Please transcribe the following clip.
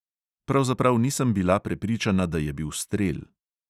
Pravzaprav nisem bila prepričana, da je bil strel.